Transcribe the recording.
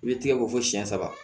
I bɛ tigɛko fɔ siyɛn saba